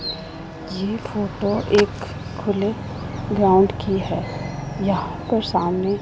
ये फोटो एक खुले ग्राउंड की है यहां पर सामने--